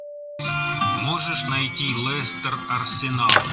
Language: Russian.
можешь найти лестер арсенал